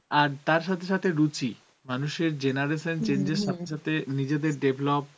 আর তার সথে সথে রুচি, মানুষের genaration change এর সথে সথে নিজেদের develop